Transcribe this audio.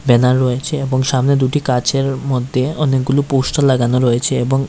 banner রয়েছে এবং সামনে দুটি কাঁচের মধ্যে অনেকগুলো পোস্টার লাগানো রয়েছে এবং--